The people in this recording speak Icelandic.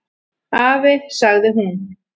"""Afi, sagði hún."""